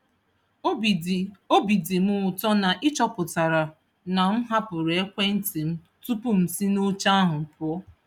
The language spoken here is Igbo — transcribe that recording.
Obi dị Obi dị m ụtọ na ị chọpụtara na m hapụrụ ekwentị m tupu m si n'oche ahụ pụọ.